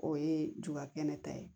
O ye ju ka kɛnɛ ta ye